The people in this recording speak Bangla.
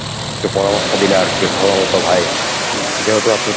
একটু পরামর্শ দিলে আর কি ভালো হতো ভাই, যেহেতু আপনি